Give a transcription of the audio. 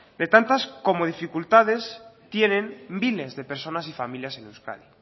de tantas como dificultades tienen miles de personas y familiar en euskadi